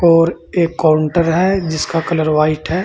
और एक काउंटर है जिसका कलर व्हाइट है।